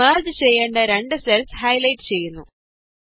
ഇത് മെര്ജ് ചെയ്യേണ്ട രണ്ടു സെല്സ് ഹൈലൈറ്റ് ചെയ്യുന്നു